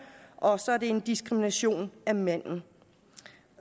og så er det en diskrimination af mændene